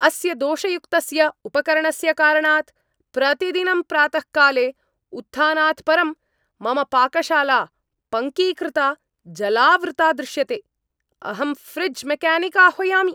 अस्य दोषयुक्तस्य उपकरणस्य कारणात् प्रतिदिनं प्रातःकाले उत्थानात् परं मम पाकशाला पङ्कीकृता जलावृता दृश्यते, अहं ऴ्रिज् मेकानिक् आह्वयामि।